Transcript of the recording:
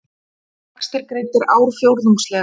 Vextir greiddir ársfjórðungslega